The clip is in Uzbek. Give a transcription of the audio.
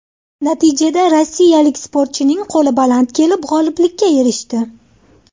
Natijada rossiyalik sportchining qo‘li baland kelib, g‘oliblikka erishdi.